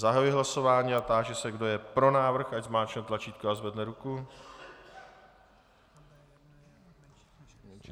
Zahajuji hlasování a táži se, kdo je pro návrh, ať zmáčkne tlačítko a zvedne ruku.